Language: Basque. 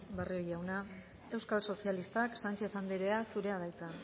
barrio jauna euskal sozialistak sánchez andrea zurea da hitza